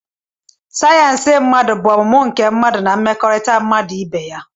sayensị mmadụ bụ ọmụmụ nke mmadụ na mmekọrịta mmadụ na ibe ya